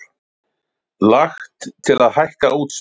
Lagt til að hækka útsvar